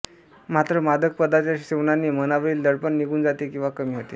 मात्र मादक पदार्थाच्या सेवनाने मनावरील दडपण निघून जाते किंवा कमी होते